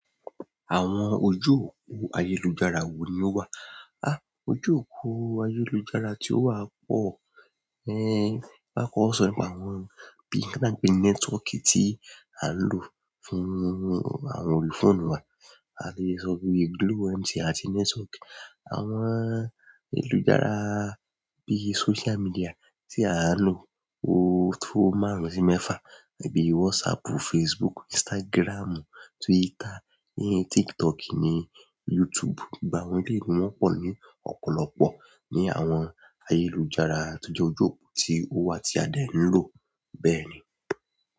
Àwọn ojú òpó ayélujára wo ni ó wà? Ojú òpó ayélujára tí ó wà pọ̀, a kòko sọ̀rọ̀ nípa àwọn bí i nǹkan ta n pe ni network tí à ń lò fún àwọn orí fóònù wa, a tun lè sọ pe bí Glo, MTN àti network. Àwọn ayélujára bí i social media tí à ń lò ó tó márùn-ún sí mẹ́fà bí i WhatsApp, Facebook, Instagram, Twitter, TikTok ni, YouTube. Ìgbà wo ni gig maa n pọ̀ ní ọ̀pọ̀lọpọ̀ ní àwọn ayélujára tó jẹ́ ojú òpó tí ó wà tí a dẹ̀ ń lò bẹ́ẹ̀ ni.